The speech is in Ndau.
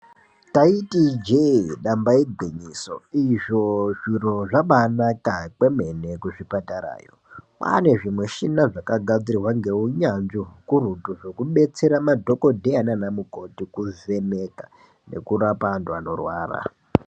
Taiti ijee damba igwinyiso, izvo zviro zvaba anaka kwemene kuzvipatarayo, kwaane zvimushina zvakagadzirwa ngeunyanzvi hukurutu zvekubetsera madhokodheya nanamukhoti kuvheneka kurapa antu anorwara.